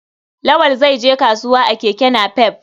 Lawal zai je kasuwa a keke napep.